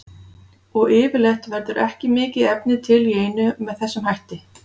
Og yfirleitt verður ekki mikið efni til í einu með þessum hætti.